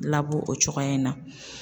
Labɔ o cogoya in na